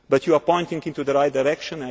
But you are pointing in the right direction.